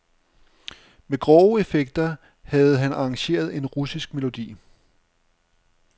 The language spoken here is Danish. Med grove effekter havde han arrangeret en russisk melodi.